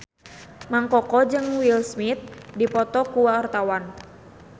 Mang Koko jeung Will Smith keur dipoto ku wartawan